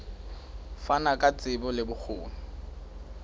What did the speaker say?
fana ka tsebo le bokgoni